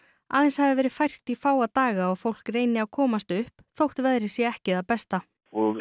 aðeins hafi verið fært í fáa daga og fólk reyni að komst upp þótt veðrið sé ekki það besta og